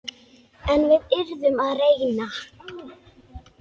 En við yrðum að reyna.